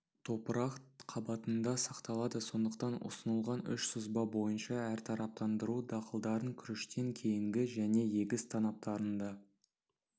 топырақ қабатында сақталады сондықтан ұсынылған үш сызба бойынша әртараптандыру дақылдарын күріштен кейінгі және егіс танаптарында